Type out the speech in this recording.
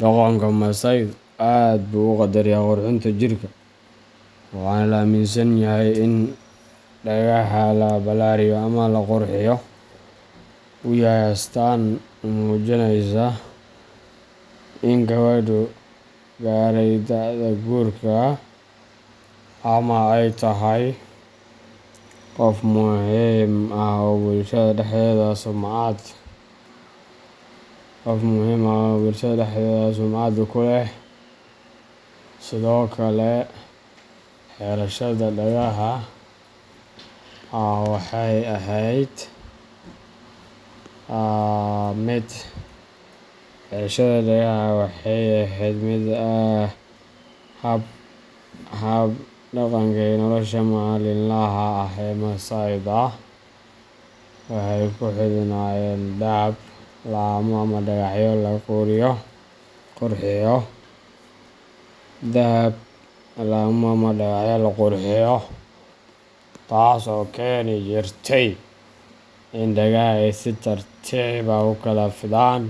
Dhaqanka Masaaydu aad buu u qadariyaa qurxinta jirka, waxaana la aaminsan yahay in dhagaha oo la ballaariyo ama la qurxiyo uu yahay astaan muujinaysa in gabadhu gaaray da’da guurka ama ay tahay qof muhiim ah oo bulshada dhexdeeda sumcad ku leh. Sidoo kale, xirashada dhagaha waxay ahayd qayb ka mid ah hab dhaqanka iyo nolosha maalinlaha ah ee Masaayda. Waxay ku xidhnaayeen dahab, laamo, ama dhagaxyo lagu qurxiyo, taas oo keeni jirtay in dhagaha ay si tartiib ah u kala fidaan.